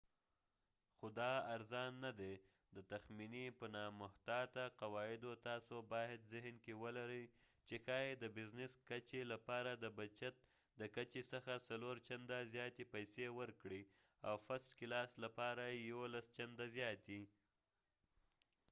خو دا ارزان نه دی د تخمینې په نامحتاطه قواعدو تاسو باید ذهن کې ولرئ چې ښايي د بزنس کچې لپاره د بچت د کچې څخه څلور چنده زیاتې پیسې ورکړئ او فرسټ کلاس لپاره یولس چنده زیاتې